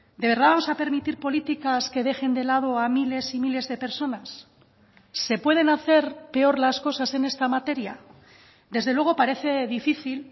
de verdad vamos a permitir políticas que dejen de lado a miles y miles de personas se pueden hacer peor las cosas en esta materia desde luego parece difícil